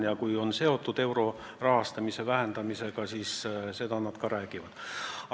Ja kui kärbe on seotud eurorahastamise vähendamisega, siis seda nad ka räägivad.